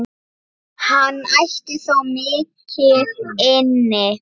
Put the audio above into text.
Hann ætti þó mikið inni.